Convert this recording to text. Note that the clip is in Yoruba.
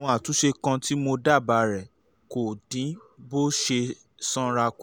àwọn àtúnṣe kan tí mo dábàá rè é: kó o dín bó o ṣe sanra kù